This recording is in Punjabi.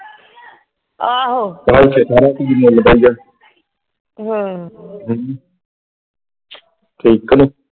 ਹਮ ,